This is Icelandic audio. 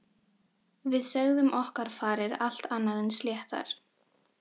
Við sögðum okkar farir allt annað en sléttar.